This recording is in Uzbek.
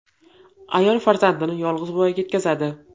Ayol farzandini yolg‘iz voyaga yetkazadi.